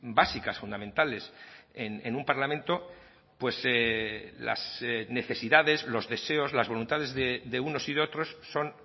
básicas fundamentales en un parlamento pues las necesidades los deseos las voluntades de unos y de otros son